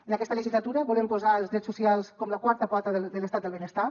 en aquesta legislatura volem posar els drets socials com la quarta pota de l’estat del benestar